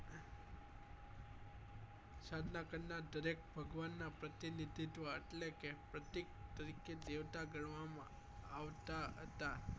સાધના કરનાર દરેક ભગવાન ના પ્રતિનિધિત્વ એટલે કે પ્રતિક તરીકે દેવતા ગણવા માં આવતા હતા